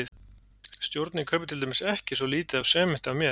Stjórnin kaupir til dæmis ekki svo lítið af sementi af mér.